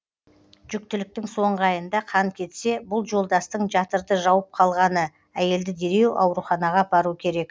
жүктіліктің соңғы айында қан кетсе бұл жолдастың жатырды жауып қалғаны әйелді дереу ауруханаға апару керек